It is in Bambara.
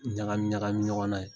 Ɲagami ɲagami ɲɔgɔn na yen